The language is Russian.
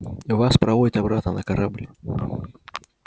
вас проводят обратно на корабль